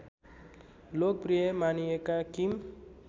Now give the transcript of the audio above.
लोकप्रिय मानिएका किम